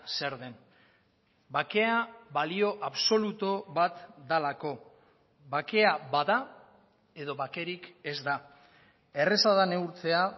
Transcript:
zer den bakea balio absolutu bat delako bakea bada edo bakerik ez da erraza da neurtzea